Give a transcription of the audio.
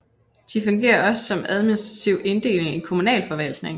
De fungerer også som administrativ inddeling for kommunalforvaltningen